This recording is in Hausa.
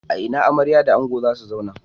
A ina amarya da ango za su zauna?